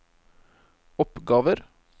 oppgaver